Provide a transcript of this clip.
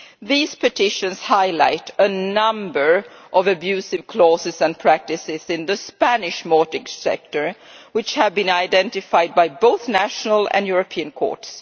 These petitions highlight a number of abusive clauses and practices in the Spanish mortgage sector which have been identified by both national and European courts.